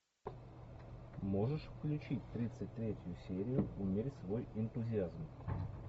можешь включить тридцать третью серию умерь свой энтузиазм